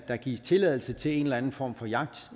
der gives tilladelse til en eller anden form for jagt